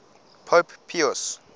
pope pius